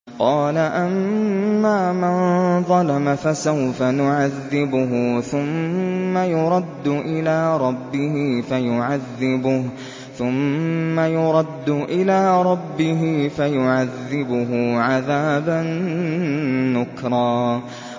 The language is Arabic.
قَالَ أَمَّا مَن ظَلَمَ فَسَوْفَ نُعَذِّبُهُ ثُمَّ يُرَدُّ إِلَىٰ رَبِّهِ فَيُعَذِّبُهُ عَذَابًا نُّكْرًا